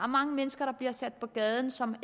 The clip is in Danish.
mange mennesker der bliver sat på gaden som